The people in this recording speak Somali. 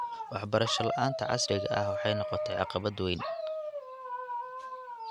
Waxbarasho la�aanta casriga ah waxay noqotay caqabad weyn.